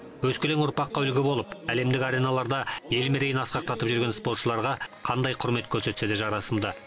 өскелең ұрпаққа үлгі болып әлемдік ареналарда ел мерейін асқақтатып жүрген спортшыларға қандай құрмет көрсетсе де жарасымды